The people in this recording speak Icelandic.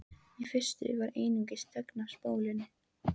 Í fyrstu var einungis þögn á spólunni.